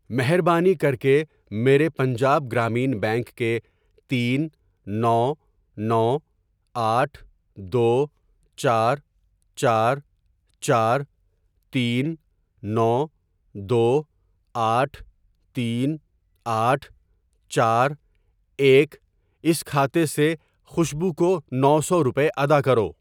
مہربانی کرکے میرے پنجاب گرامین بینک کے تین نو نو آٹھ دو چار چار چار تین نو دو آٹھ تین آٹھ چار ایک اس کھاتے سے خوشبو کو نو سو روپے ادا کرو۔